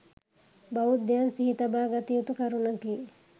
බෞද්ධයන් සිහි තබා ගත යුතු කරුණකි.